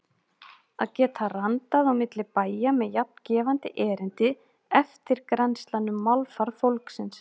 Að geta randað á milli bæja með jafn gefandi erindi: eftirgrennslan um málfar fólksins.